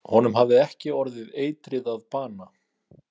„Honum hafði ekki orðið eitrið að bana“.